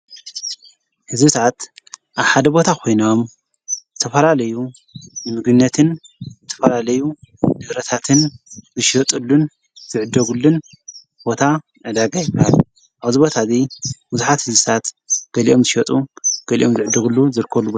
ሕዝብታት ሰዓት ኣሓደ ቦታ ኾይኖም ተፈላለዩ ንምግነትን ተፈራለዩ ልብረታትን ዝሸወጡሉን ዝዕደጉሉን ቦታ ነዳጋ ኣይባል ኣብዝቦታእዙይ ዉዙኃት ሕዝሳት ገሊኦም ዝሸጡ ገሊኦም ዝዕደጉሉ ይርከቡ፡፡